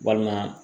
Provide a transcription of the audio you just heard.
Walima